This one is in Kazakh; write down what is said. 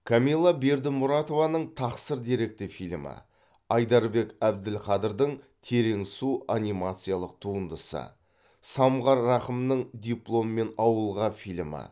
камилла бердімұратованың тақсыр деректі фильмі айдарбек әбділқадырдың терең су анимациялық туындысы самғар рақымның дипломмен ауылға фильмі